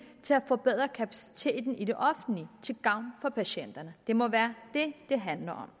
til at forbedre kapaciteten i det offentlige til gavn for patienterne det må være det det handler